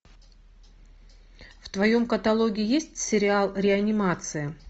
в твоем каталоге есть сериал реанимация